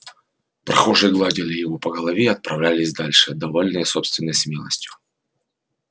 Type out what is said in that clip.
прохожие гладили его по голове и отправлялись дальше довольные собственной смелостью